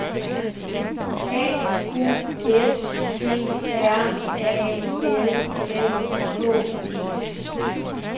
A U S T R A L S K E